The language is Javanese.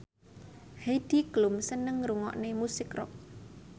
Heidi Klum seneng ngrungokne musik rock